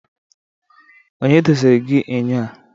onye doziri gi enyo a?